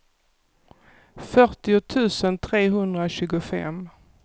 fyrtio tusen trehundratjugofem